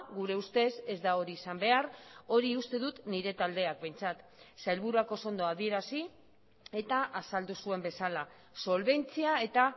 gure ustez ez da hori izan behar hori uste dut nire taldeak behintzat sailburuak oso ondo adierazi eta azaldu zuen bezala solbentzia eta